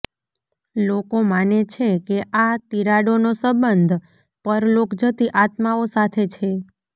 લોકો માને છે કે આ તિરાડોનો સંબંધ પરલોક જતી આત્માઓ સાથે છે